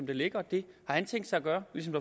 det ligger og det har han tænkt sig at gøre ligesom